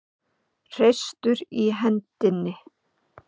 Hreistur í hendinni.